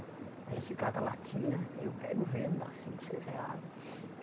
A gente cata latinha, e eu pego vendo, dá cinco, seis reais.